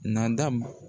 Nada